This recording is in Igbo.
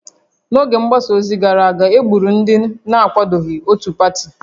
N'oge mgbasa ozi gara aga, e gburu ndị na-akwadoghị otu pati